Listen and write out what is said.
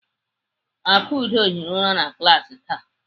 Akudo hiri ụra na klaasị taa.